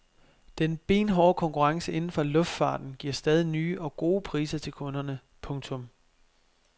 Den benhårde konkurrence inden for luftfarten giver stadig nye og gode priser til kunderne. punktum